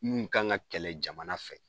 Munnu kan ka kɛlɛ jamana fɛ.